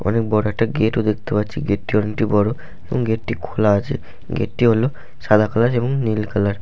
অনেক বড় একটা গেট ও দেখতে পাচ্ছি গেট -টি অনেকটা বড় এবং গেট -টি খোলা আছে । গেট -টি হলো সাদা কালার এবং নীল কালার ।